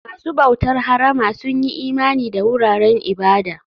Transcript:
Masu bautar harama sun yi imani da wuraren ibada.